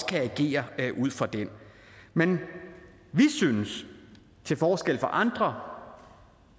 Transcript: kan agere ud fra men vi synes til forskel fra andre